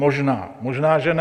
Možná, možná že ne.